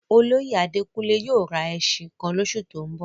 Olóyè Àdékúnlé yóò rá èṣin kan lọsù tó n bọ̀?